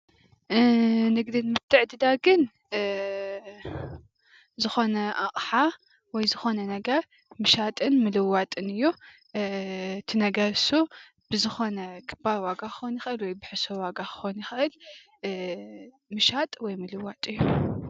ኒግዲኒ ምትዕድዳግኒዝኮነ ኣቃሓወይ ዝኮነ ነገረ ምሻጥምልዋጥኒ እዩ፡፡ እት ነገረ ኑሱ ብዝኮነብክበራ ዋጋ ክኮነ ይክእል ወይብሕሳር ዋጋ ክኮነ ይክእል፡፡ ምሻጥ ወይ ምልዋጥ እዩ፡፡